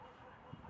Allah!